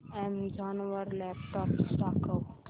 Amazon वर laptops दाखव